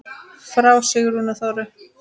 Frá Sigrúnu Þóru.